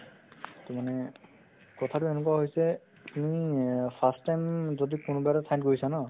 to মানে কথাতো এনেকুৱা হৈছে তুমি এ first time যদি কোনোবা এটা ঠাইত গৈছা ন